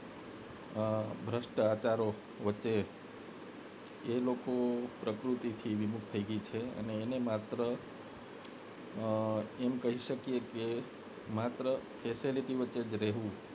અ ભ્રષ્ટાચાર વચ્ચે એ લોકો પ્રકૃતિથી વિમુખ થઈ ગઈ છે અને માત્ર અ એમ કહી શકી કે facility વચ્ચે જ રહેવું